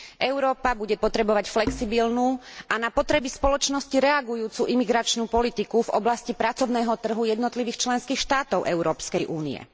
Európa bude potrebovať flexibilnú a na potreby spoločnosti reagujúcu imigračnú politiku v oblasti pracovného trhu jednotlivých členských štátov Európskej únie.